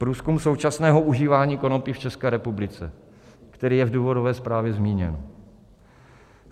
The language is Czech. Průzkum současného užívání konopí v České republice, který je v důvodové zprávě zmíněn.